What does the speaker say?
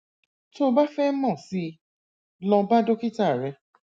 tó o bá fẹ mọ síi lọ bá dókítà rẹ